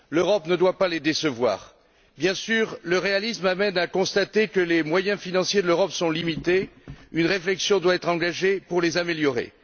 L'Europe ne doit pas les décevoir. Bien sûr, le réalisme amène à constater que les moyens financiers de l'Europe sont limités, une réflexion doit être engagée pour les améliorer.